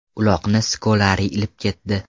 Uloqni Skolari ilib ketdi.